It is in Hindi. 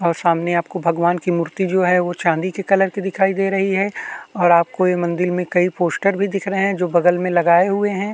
और सामने आपको भगवान की मूर्ति जो है वो चांदी के कलर की दिखाई दे रही है और आपको यह मंदिल में कई पोस्टर भी दिख रहे है जो बगल में लगाये हुए है।